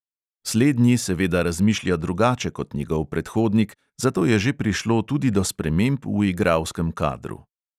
Slednji seveda razmišlja drugače kot njegov predhodnik, zato je že prišlo tudi do sprememb v igralskem kadru.